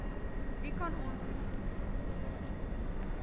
wie kan aansoek